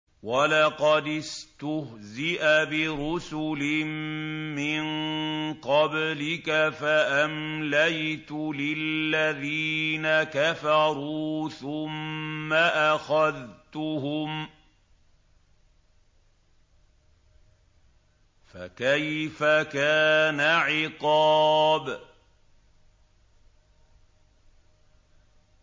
وَلَقَدِ اسْتُهْزِئَ بِرُسُلٍ مِّن قَبْلِكَ فَأَمْلَيْتُ لِلَّذِينَ كَفَرُوا ثُمَّ أَخَذْتُهُمْ ۖ فَكَيْفَ كَانَ عِقَابِ